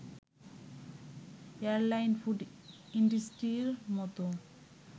airline, food ইণ্ডাস্ট্রির মতো